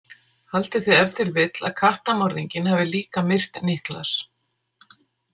Haldið þið ef til vill að kattamorðinginn hafi líka myrt Niklas?